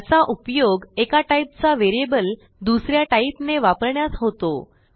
याचा उपयोग एका टाईपचा व्हेरिएबल दुस या टाईपने वापरण्यास होतो